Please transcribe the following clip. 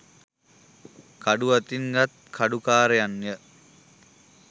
කඩු අතින් ගත් කඩුකාරයන් ය.